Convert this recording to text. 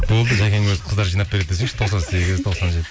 болды жәкең өзі қыздар жинап береді десеңші тоқсан сегіз тоқсан